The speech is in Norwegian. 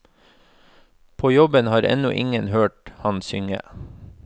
På jobben har ennå ingen hørt ham synge.